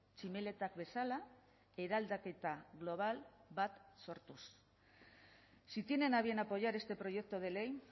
tximeletak bezala eraldaketa global bat sortuz si tienen a bien apoyar este proyecto de ley